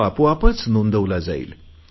तो आपोआप नोंदवला जाईल